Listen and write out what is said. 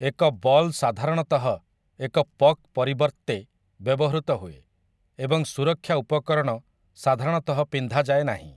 ଏକ ବଲ୍ ସାଧାରଣତଃ ଏକ ପକ୍ ପରିବର୍ତ୍ତେ ବ୍ୟବହୃତ ହୁଏ, ଏବଂ ସୁରକ୍ଷା ଉପକରଣ ସାଧାରଣତଃ ପିନ୍ଧାଯାଏ ନାହିଁ ।